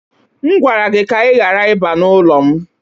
M gwara gị ka ị ghara ịbịa n'ụlọ m